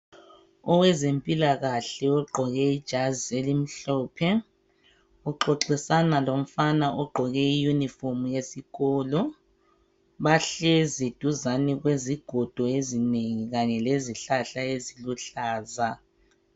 owezempilakahle ogqoke ijazi elimhlophe uxoxisana lomfana ogqoke i uniform yesikolo bahlezi duzane kwezigodo ezinengi kanye lezihlahal eziluhlaza